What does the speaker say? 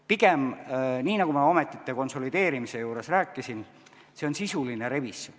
Pigem, nii nagu ma ametite konsolideerimise juures rääkisin, on see sisuline revisjon.